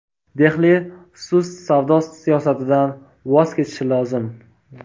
Dehli sust savdo siyosatidan voz kechishi lozim.